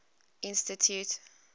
institute